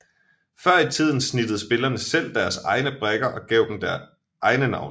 Før i tiden snittede spillerne selv deres egne brikker og gav dem egne navne